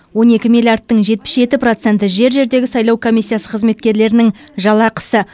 он екі миллиардтың жетпіс жеті проценті жер жердегі сайлау комиссиясы қызметкерлерінің жалақысы